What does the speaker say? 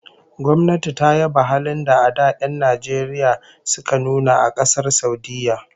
Gwamnati ta yaba halin da'a da 'yan Najeriya suka nuna a Kasar Saudiyya